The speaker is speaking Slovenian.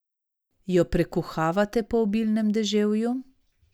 Jo prekuhavate po obilnem deževju?